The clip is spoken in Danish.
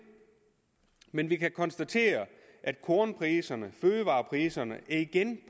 men vi kan konstatere at kornpriserne og fødevarepriserne igen